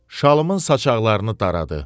Şalımın saçaqlarını daradı.